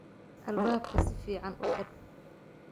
Albaabka si fiican u xidh.